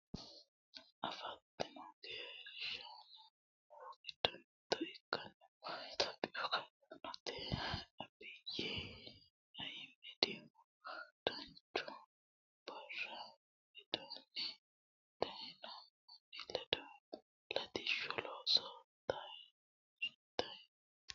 afantino gashshaanonna annuwu giddo mitto ikkinohu itiyophiyu gashshaanchi abiyyi ayiimedihu duuchu baara widinni dayeeno manni ledo latishshu looso toyaatanni no